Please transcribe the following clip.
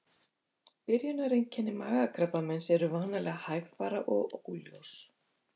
Byrjunareinkenni magakrabbameins eru vanalega hægfara og óljós.